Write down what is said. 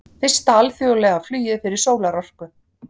Fyrsta alþjóðlega flugið fyrir sólarorku